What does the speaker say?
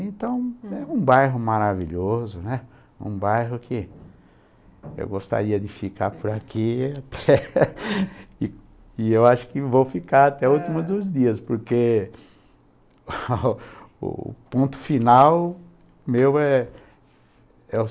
Então é um bairro maravilhoso, né, um bairro que eu gostaria de ficar por aqui e e acho que vou ficar até o último dos dias, porque o ponto final meu é é